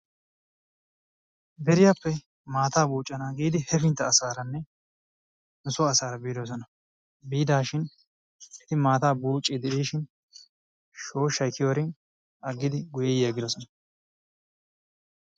Deriyaappe maata buuccana giidi he finta asaaranne nusoo asaara boodosona. biidaashin eti maataa buuciidi diishin shooshay kiyiyoorin agidi guye yi agidosona.